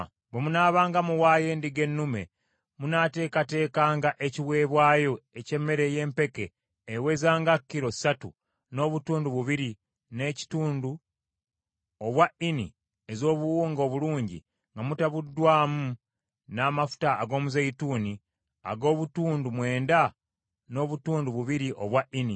“Bwe munaabanga muwaayo endiga ennume munaateekateekanga ekiweebwayo eky’emmere y’empeke eweza nga kilo ssatu n’obutundu bubiri n’ekitundu obwa Ini ez’obuwunga obulungi nga mutabuddwamu n’amafuta ag’omuzeeyituuni ag’obutundu mwenda n’obutundu bubiri obwa Ini,